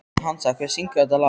Hansa, hver syngur þetta lag?